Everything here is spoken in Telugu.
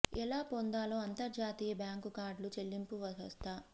ఎలా పొందాలో అంతర్జాతీయ బ్యాంకు కార్డులు చెల్లింపు వ్యవస్థ